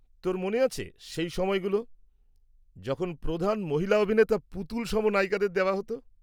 তোর মনে আছে সেই সময়গুলো যখন প্রধান মহিলা অভিনেতা পুতুলসম নায়িকাদের দেওয়া হত?